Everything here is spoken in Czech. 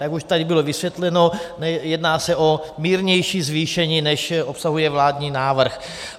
Jak už tady bylo vysvětleno, jedná se o mírnější zvýšení, než obsahuje vládní návrh.